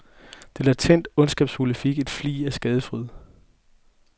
Det latent ondskabsfulde fik en flig af skadefryd.